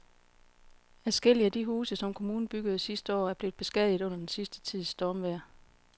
Adskillige af de huse, som kommunen byggede sidste år, er blevet beskadiget under den sidste tids stormvejr.